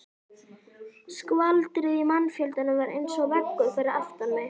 Skvaldrið í mannfjöldanum var eins og veggur fyrir aftan mig.